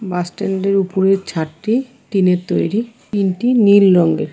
Bus stand -এর উপরের ছাদটি টিন -এর তৈরি । টিন -টি নীল রঙের।